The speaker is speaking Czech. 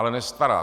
Ale nestará.